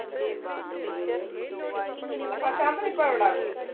ആ പ്രശാന്തൻ ഇപ്പൊ എവിടാ?